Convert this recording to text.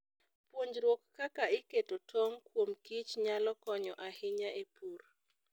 Puonjruok kaka iketo tong' kuom kich nyalo konyo ahinya e pur.